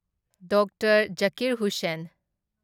doctor Zakir Hussain